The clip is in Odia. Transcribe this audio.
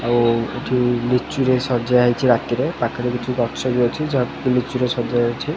ଆଉ ଏଠି ଲିଚୁରେ ସଜା ହେଇଛି ରାତିରେ ପାଖରେ କିଛି ଗଛ ବି ଅଛି ଯାହା ଲିଚୁରେ ସଜା ହେଇଛି।